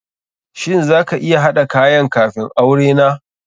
Shin za ka iya haɗa kayan kafun aure na?